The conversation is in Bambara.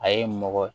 A ye mɔgɔ